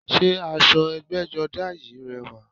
Sé aṣọ ẹgbẹ́jọdá yìí rẹwà?